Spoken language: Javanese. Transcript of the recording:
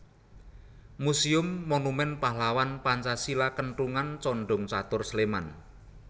Muséum Monumen Pahlawan Pancasila Kentungan Condongcatur Sleman